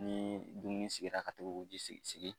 Ni dumuni sigira ka to k'o ji sigi sigi